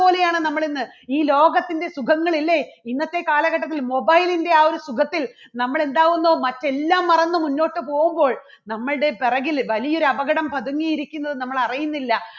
പോലെയാണ് നമ്മൾ ഇന്ന് ഈ ലോകത്തിൻറെ സുഖങ്ങൾ ഇല്ലേ ഇന്നത്തെ കാലഘട്ടത്തിൽ mobile ന്റെ ആ ഒരു സുഖത്തിൽ നമ്മൾ എന്താകുന്നു മറ്റ് എല്ലാം മറന്ന് മുന്നോട്ട് പോകുമ്പോൾ നമ്മളുടെ പുറകിൽ വലിയ ഒരു അപകടം പതുങ്ങിയിരിക്കുന്നു നമ്മൾ അറിയുന്നില്ല.